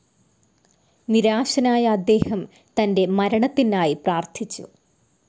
നിരാശനായ അദ്ദേഹം തൻ്റെ മരണത്തിനായി പ്രാർത്ഥിച്ചു.